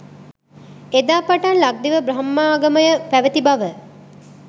එදා පටන් ලක්දිව බ්‍රහ්මාගමය පැවැති බව